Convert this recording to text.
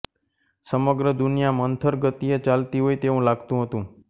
સમગ્ર દુનિયા મંથર ગતિએ ચાલતી હોય તેવું લાગતું હતું